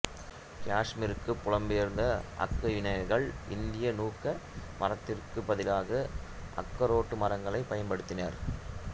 காசுமீருக்கு புலம்பெயர்ந்த அக்கைவினைஞர்கள் இந்திய நூக்க மரத்திற்குப் பதிலாக அக்கரோட்டு மரங்களை பயன்படுத்தினர்